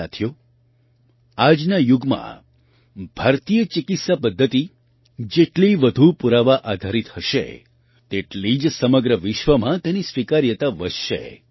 સાથીઓ આજના યુગમાં ભારતીય ચિકિત્સા પદ્ધતિઓ જેટલી વધુ પુરાવા આધારિત હશે તેટલી જ સમગ્ર વિશ્વમાં તેની સ્વીકાર્યતા વધશે